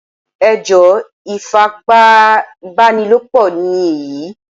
Ẹ jọ́ ifipábánilòpọ̀ ni èyí